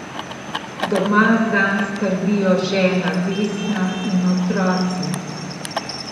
Doma zanj skrbijo žena Vesna in otroci.